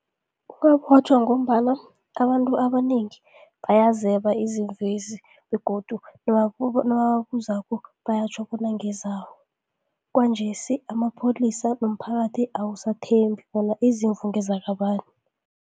Ungabotjhwa ngombana abantu abanengi bayazeba izimvu lezi begodu nababuzako bayatjho bona ngezabo. Kwanjesi emapholisa nomphakathi awusathembi bona izimvu ngezakabani.